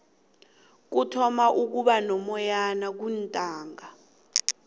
kuthoma ukuba nomoyana kuntaaka